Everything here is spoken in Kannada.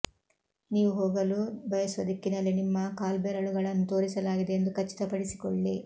ನೀವು ಹೋಗಲು ಬಯಸುವ ದಿಕ್ಕಿನಲ್ಲಿ ನಿಮ್ಮ ಕಾಲ್ಬೆರಳುಗಳನ್ನು ತೋರಿಸಲಾಗಿದೆ ಎಂದು ಖಚಿತಪಡಿಸಿಕೊಳ್ಳಿ